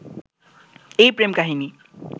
এই প্রেম-কাহিনী